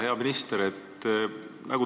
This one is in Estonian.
Hea minister!